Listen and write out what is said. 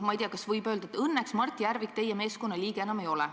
Ma ei tea, kas võib öelda, et õnneks Mart Järvik teie meeskonna liige enam ei ole.